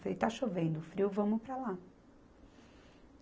Falei, está chovendo, frio, vamos para lá.